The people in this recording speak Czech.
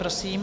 Prosím.